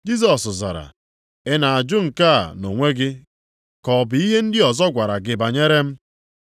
Jisọs zara, “Ị na-ajụ nke a nʼonwe gị ka ọ bụ ihe ndị ọzọ gwara gị banyere m?”